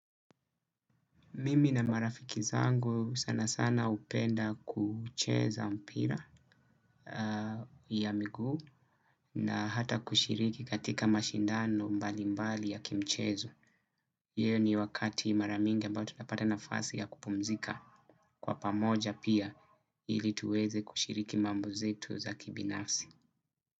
Mimi na marafiki zangu sana sana hupenda kucheza mpira ya miguu. Na hata kushiriki katika mashindano mbali mbali ya kimchezo. Hiyo ni wakati mara mingi ambayo tunapata nafasi ya kupumzika kwa pamoja pia ili tuweze kushiriki mambo zetu za kibinafsi.